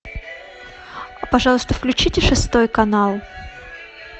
пожалуйста включите шестой канал